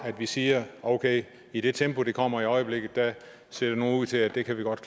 at vi siger okay i det tempo det kommer i øjeblikket ser det nu ud til at vi godt